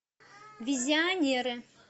визионеры